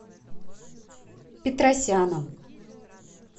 петросяном